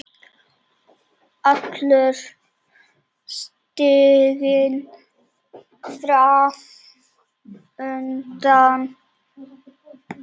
Allur stiginn fram undan.